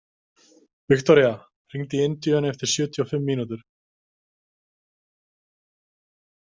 Viktoria, hringdu í Indíönu eftir sjötíu og fimm mínútur.